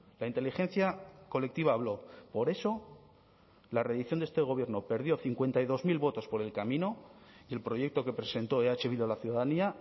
la inteligencia colectiva habló por eso la redición de este gobierno perdió cincuenta y dos mil votos por el camino y el proyecto que presentó eh bildu a la ciudadanía